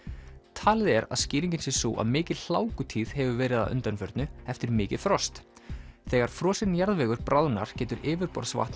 talið er að skýringin sé sú að mikil hefur verið að undanförnu eftir mikið frost þegar frosinn jarðvegur bráðnar getur yfirborðsvatn